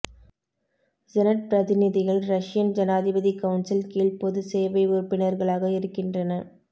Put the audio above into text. senate பிரதிநிதிகள் Russian ஜனாதிபதி council கீழ் பொது சேவை உறுப்பினர்களாக இருக்கின்றன